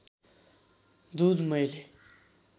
दुध मैले